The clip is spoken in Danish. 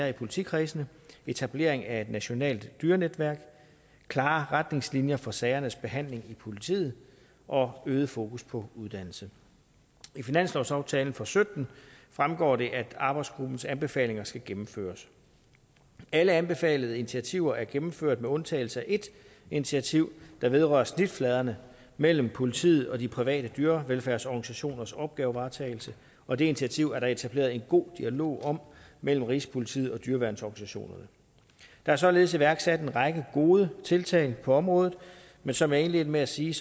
i politikredsene etablering af et nationalt dyrenetværk klare retningslinjer for sagernes behandling i politiet og øget fokus på uddannelse i finanslovsaftalen for sytten fremgår det at arbejdsgruppens anbefalinger skal gennemføres alle anbefalede initiativer er gennemført med undtagelse af ét initiativ der vedrører snitfladerne mellem politiet og de private dyrevelfærdsorganisationers opgavevaretagelse og det initiativ er der etableret en god dialog om mellem rigspolitiet og dyreværnsorganisationerne der er således iværksat en række gode tiltag på området men som jeg indledte med at sige